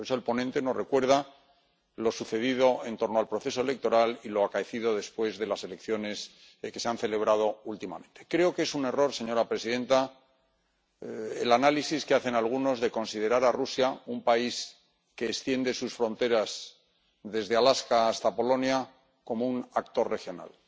Por eso el ponente nos recuerda lo sucedido en torno al proceso electoral y lo acaecido después de las elecciones que se han celebrado últimamente. Creo que es un error, señora presidenta, el análisis que hacen algunos de considerar a Rusia, un país que extiende sus fronteras desde Alaska hasta Polonia, como un actor regional.